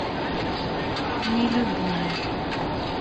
нелюбимый